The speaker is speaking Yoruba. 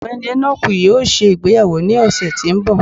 Ọgbẹni Enoku yóò ṣe ìgbéyàwó ni ọsẹ ti n bọ